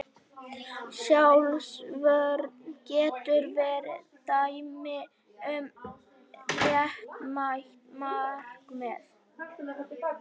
Sjálfsvörn getur verið dæmi um réttmætt markmið.